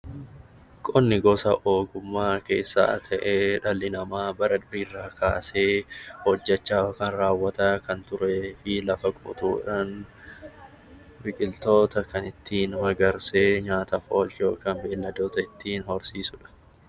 Qonni gosa ogummaa keessaa ta'ee dhalli namaa bara durii irraa kaasee hojjechaa yookaan raawwachaa kan turee fi lafa qotuudhaan biqiltoota kan ittiin magarsee nyaataaf oolchuudhaaf beeyiladoota ittiin horsiisuudha.